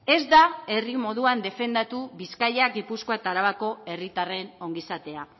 ez da herri moduan defendatu bizkaia gipuzkoa eta arabako herritarren ongizatea